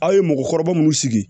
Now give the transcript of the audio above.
Aw ye mɔgɔkɔrɔba munnu sigi